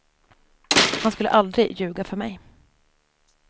Han skulle aldrig ljuga för mig.